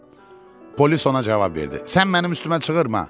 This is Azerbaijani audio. Polis ona cavab verdi: Sən mənim üstümə bağırma.